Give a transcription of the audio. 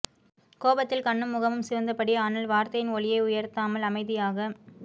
கோபத்தில் கண்ணும் முகமும் சிவந்தபடி ஆனால் வார்த்தையின் ஒலியை உயர்த்தாமல் அமைதியாக